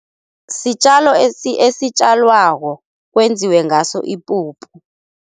Sitjalo esitjalwako kwenziwe ngaso ipuphu.